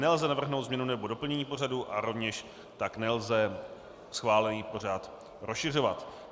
Nelze navrhnout změnu nebo doplnění pořadu a rovněž tak nelze schválený pořad rozšiřovat.